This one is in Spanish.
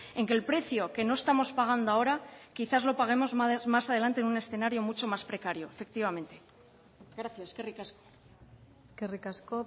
en que el precio que no estamos pagando ahora quizás lo paguemos más adelante en un escenario mucho más precario efectivamente gracias eskerrik asko eskerrik asko